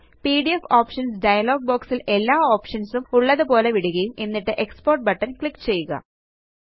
PDF options dialog box ല് എല്ലാ options ഉം ഉള്ളതുപോലെ വിടുകയും എന്നിട്ട് എക്സ്പോർട്ട് ബട്ടൺ ക്ലിക്ക് ചെയ്യുക